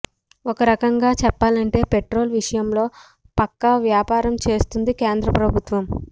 ఒకరకంగా చెప్పాలంటే పెట్రోల్ విషయంలో పక్కా వ్యాపారం చేస్తోంది కేంద్ర ప్రభుత్వం